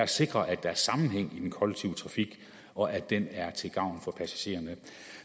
sikre at der er sammenhæng i den kollektive trafik og at den er til gavn for passagererne